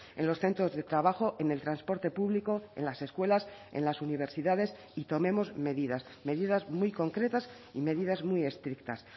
en los centros de trabajo en el transporte público en las escuelas en las universidades y tomemos medidas medidas muy concretas y medidas muy estrictas